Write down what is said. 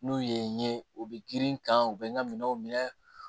N'u ye n ye u bɛ girin kan u bɛ n ka minɛnw minɛ